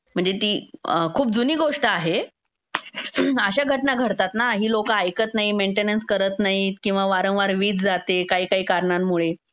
म्हणजे ती खूप जुनी गोष्ट आहे. अशा घटना घडतात ना. ही लोकं ऐकत नाहीत, मेंटेनन्स करत नाहीत किंवा वारंवार वीज जाते काही-काही कारनांमुळे